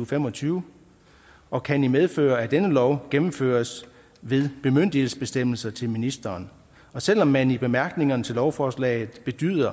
og fem og tyve og kan i medfør af denne lov gennemføres ved bemyndigelsesbestemmelser til ministeren og selv om man i bemærkningerne til lovforslaget bedyrer